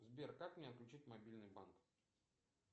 сбер как мне отключить мобильный банк